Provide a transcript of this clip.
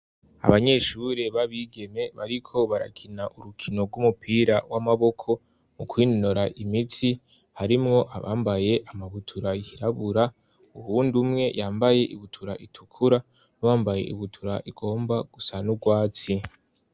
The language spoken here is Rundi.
Abanyeshure b'abigeme bariko barakina urukino rw'umupira w'amaboko mu kwinora imitsi harimwo abambaye amabutura yirabura, uwundi umwe yambaye ibutura itukura, n'uwambaye ibutura igomba gusa n'urwatsi.